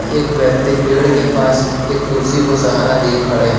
एक व्यक्ति पेड़ के पास एक कुर्सी को सहारा दिए खड़े हैं।